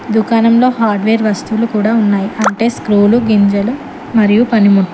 దుకాణంలో హార్డ్వేర్ వస్తువులు కూడా ఉన్నాయి అంటే స్క్రోలు గింజలు మరియు పనిముట్లు.